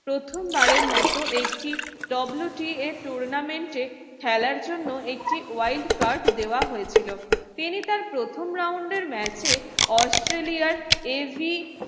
প্রথমবারের মতো একটি WTAtournament র খেলার জন্য একটি wild card দেওয়া হয়েছিল। তিনি তার প্রথম round এর match এ অস্ট্রেলিয়ার